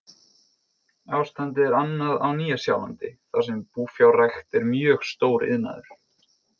Ástandið er annað á Nýja-Sjálandi þar sem búfjárrækt er mjög stór iðnaður.